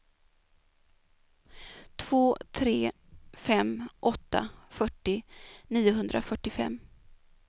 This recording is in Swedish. två tre fem åtta fyrtio niohundrafyrtiofem